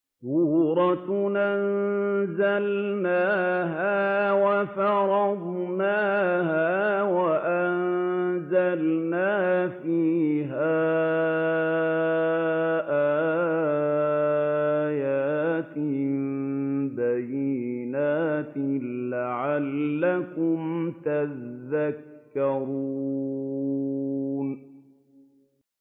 سُورَةٌ أَنزَلْنَاهَا وَفَرَضْنَاهَا وَأَنزَلْنَا فِيهَا آيَاتٍ بَيِّنَاتٍ لَّعَلَّكُمْ تَذَكَّرُونَ